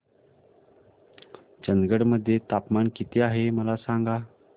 चंदगड मध्ये तापमान किती आहे मला सांगा